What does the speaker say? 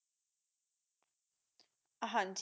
ਹਾਂਜੀ